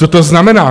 Co to znamená?